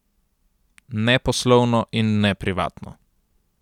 Ne poslovno in ne privatno.